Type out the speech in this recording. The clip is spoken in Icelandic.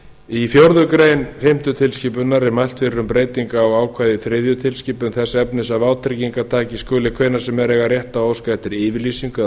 í fjórða grein fimmtu tilskipunar er mælt fyrir um breytingu á ákvæði í þriðju tilskipun þess efnis að vátryggingartaki skuli hvenær sem er eiga rétt á að óska eftir yfirlýsingu